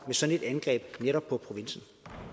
sådan et angreb på netop provinsen